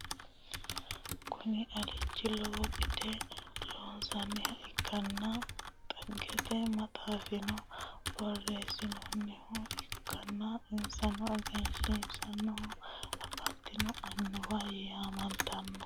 Kuni manchi lowo xagge losinnoha ikkanna xaggete maxxaffirano borresaminniho ikkanna ithiyopiyaho lowore assite sainno annuwati. insano egennantinnonna afantinno annuwa yamamtanno.